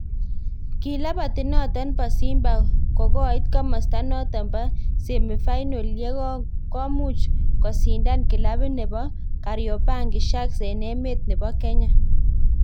kilabit noton bo Simba ko koit komasta noton bo semi final ye ko komuch kusindan kilabit nebo Kariobangi sharks en emet nebo Kenya